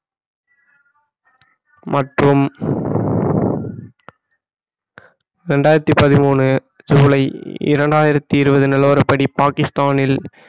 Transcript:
மற்றும் இரண்டாயிரத்தி பதிமூணு ஜூலை இரண்டாயிரத்தி இருபது நிலவரப்படி பாகிஸ்தானில்